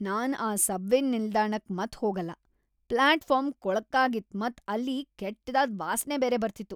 ನಾನ್ ಆ ಸಬ್ವೆ ನಿಲ್ದಾಣಕ್ ಮತ್ ಹೋಗಲ್ಲ. ಫ್ಲಾಟ್ ಫಾರ್ಮ್ ಕೊಳ್ಕಾಗಿತ್, ಮತ್ ಅಲ್ಲಿ ಕೆಟ್ದಾದ ವಾಸ್ನೆ ಬೇರೆ ಬರ್ತಿತ್ತು.